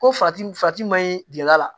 Ko farati farati maɲi gɛrɛnda la